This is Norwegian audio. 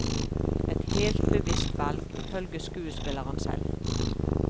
Et helt bevisst valg, ifølge skuespilleren selv.